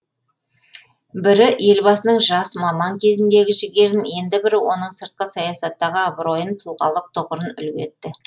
бірі елбасының жас маман кезіндегі жігерін енді бірі оның сыртқы саясаттағы абыройын тұлғалық тұғырын үлгі етті